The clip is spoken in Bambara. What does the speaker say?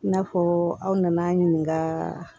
I n'a fɔ aw nana ɲininka